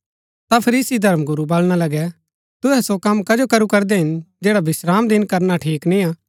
ता फरीसी धर्मगुरू वलणा लगै तुहै सो कम कजो करू करदै हिन जैडा विश्रामदिन करना ठीक निय्आ